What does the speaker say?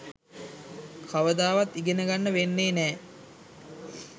කවදාවත් ඉගෙනගන්න වෙන්නෙ නෑ